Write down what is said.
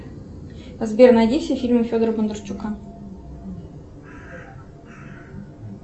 сбер найди все фильмы федора бондарчука